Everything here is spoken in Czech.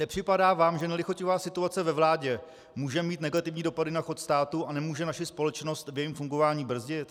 Nepřipadá vám, že nelichotivá situace ve vládě může mít negativní dopady na chod státu a může naši společnost v jejím fungování brzdit?